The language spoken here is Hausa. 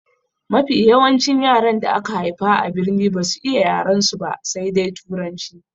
Mafi yawancin yaran da aka haifa a birni basu iya yarensu ba sai dai turanci.